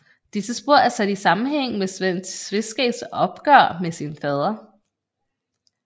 Disse spor er sat i sammenhæng med Sven Tveskægs opgør med sin fader